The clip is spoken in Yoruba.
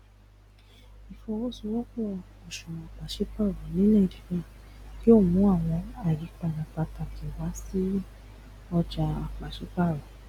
ìfọwọṣowọpọ òṣùwòn pàsípàrọ ní nàìjíríà yóò mú àwọn àyípadà pàtàkì wá sí ọjà pàsípàrọ